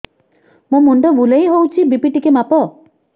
ମୋ ମୁଣ୍ଡ ବୁଲେଇ ହଉଚି ବି.ପି ଟିକେ ମାପ